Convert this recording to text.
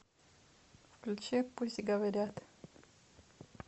включи пусть говорят